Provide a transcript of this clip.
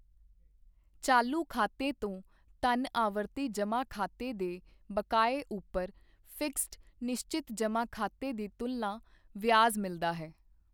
ਚਾਲੂ ਖਾਤੇ ਤੋਂ ਧਨ ਆਵਰਤੀ ਜਮ੍ਹਾਂ ਖਾਤੇ ਦੇ ਬਕਾਏ ਉੱਪਰ ਫਿਕਸਡ ਨਿਸ਼ਚਤ ਜਮ੍ਹਾਂ ਖਾਤੇ ਦੀ ਤੁਲਨਾ ਵਿਆਜ਼ ਮਿਲਦਾ ਹੈ।